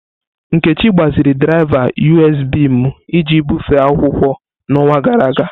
Nkechi gbaziri draịva USB m iji bufee akwụkwọ n'ọnwa gara aga.